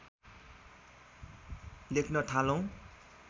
लेख्न थालौँ